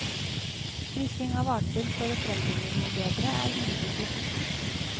Kryssing av arter for å frembringe noe bedre er imidlertid ikke nytt.